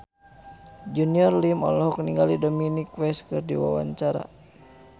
Junior Liem olohok ningali Dominic West keur diwawancara